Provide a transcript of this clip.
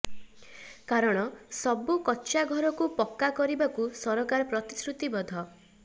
କାରଣ ସବୁ କଚ୍ଚା ଘରକୁ ପକ୍କା କରିବାକୁ ସରକାର ପ୍ରତିଶ୍ରୁତିବଦ୍ଧ